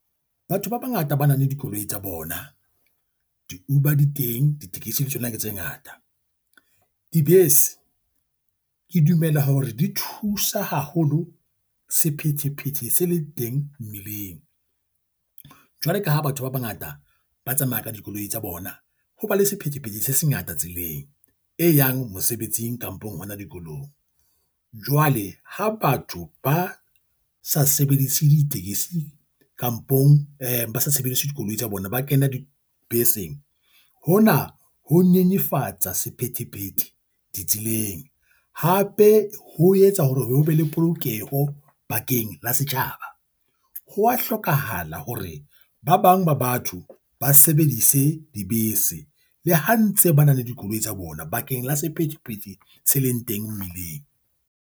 Batho ba bangata ba nang le dikoloi tsa bona, di-Uber di teng. Ditekesi di tsona ke tse ngata. Dibese, ke dumela hore di thusa haholo sephethephethe se le teng mmileng. Jwalo ka ha batho ba bangata ba tsamaya ka dikoloi tsa bona, ho ba le sephethephethe se sengata tseleng e yang mosebetsing kampong hona dikolong. Jwale ha batho ba sa sebedise ditekesi kampong eh ba sa sebedise dikoloi tsa bona, ba kena dibeseng. Hona ho nyenyefatsa sephethephethe ditseleng, hape ho etsa hore ho be le polokeho bakeng la setjhaba. Hwa hlokahala hore ba bang ba batho ba sebedise dibese le ha ntse ba na le dikoloi tsa bona bakeng la sephetephete se leng teng mmileng.